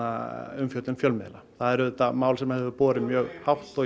umfjöllun fjölmiðla það er auðvitað mál sem hefur borið mjög hátt og